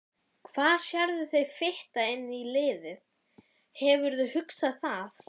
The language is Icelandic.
Hann hallar sér upp að dyrakarminum, bljúgur til augnanna.